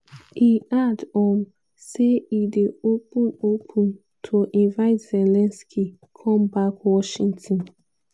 e add um say e dey open open to invite zelensky come back washington.